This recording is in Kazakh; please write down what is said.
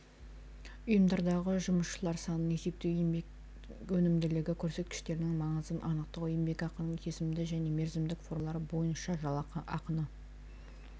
ұйымдардағы жұмысшылар санын есептеу еңбек өнімділігі көрсеткіштерінің маңызын анықтау еңбекақының кесімді және мерзімдік формалары бойынша жалақыны